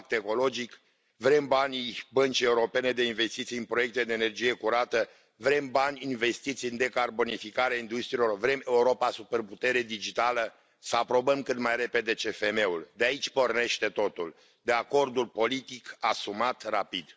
Vrem pact ecologic, vrem banii Băncii Europene de Investiții în proiecte de energie curată, vrem bani investiți în decarbonificarea industriilor, vrem Europa superputere digitală, să aprobăm cât mai repede CFM ul, deoarece de aici pornește totul, de la acordul politic asumat rapid.